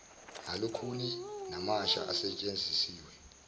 alukhuni namasha asetshenzisiwe